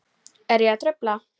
Er ég að trufla?